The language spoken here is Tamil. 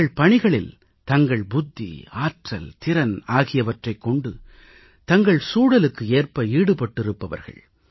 தங்கள் பணிகளில் தங்கள் புத்தி ஆற்றல் திறன் ஆகியவற்றைக் கொண்டு தங்கள் சூழலுக்கு ஏற்ப ஈடுபட்டிருப்பவர்கள்